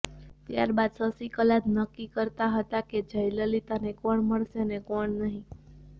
ત્યારબાદ શશિકલા જ નક્કી કરતા હતા કે જયલલિતાને કોણ મળશે અને કોણ નહીં